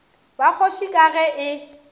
ba kgoši ka ge e